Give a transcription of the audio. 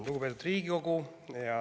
Lugupeetud Riigikogu!